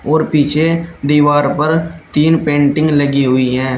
और पीछे दीवार पर तीन पेंटिंग लगी हुई है।